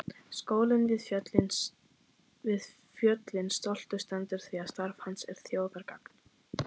Skólinn við fjöllin stoltur stendur því starf hans er þjóðargagn.